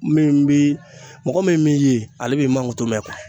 Min bi mɔgɔ min b'i ye ale b'i mankutu mɛ